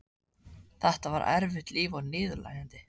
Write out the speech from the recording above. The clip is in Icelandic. Þetta var erfitt líf og niðurlægjandi.